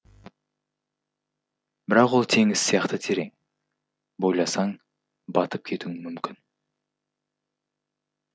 бірақ ол теңіз сияқты терең бойласаң батып кетуің мүмкін